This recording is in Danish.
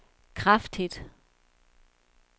kraftigt